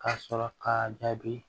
Ka sɔrɔ k'a jaabi